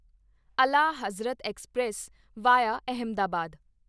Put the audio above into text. Ala Hazrat express VIA Ahmedabad